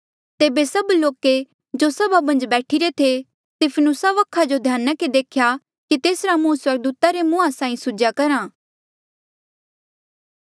तेबे सभ लोके जो सभा मन्झ बैठिरे थे स्तिफिनुसा वखा ध्याना के देख्या कि तेसरा मुंह स्वर्गदूता रे मुंहा साहीं सुझ्या करहा